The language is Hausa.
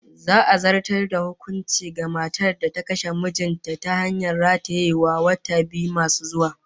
Za'a zartas da hukuncin kisa ga matar da ta kashe mijin ta ta hanyar ratayewa, wata biyu masu zuwa